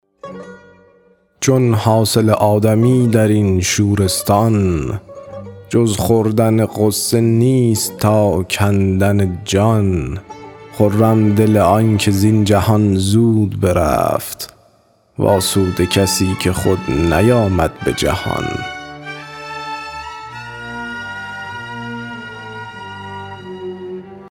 چون حاصل آدمی در این شورستان جز خوردن غصه نیست تا کندن جان خرم دل آنکه زین جهان زود برفت وآسوده کسی که خود نیامد به جهان